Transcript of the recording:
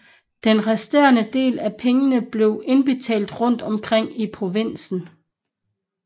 Den resterende del af pengene blev indbetalt rundt omkring i provinsen